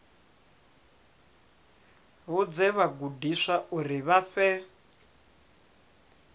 vhudze vhagudiswa uri vha fhe